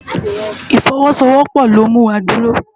Ifòwòsówòpò ló mú wá dúró